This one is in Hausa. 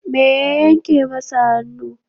Me ya yanke masa hannu?